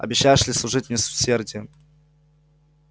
обещаешься ли служить мне с усердием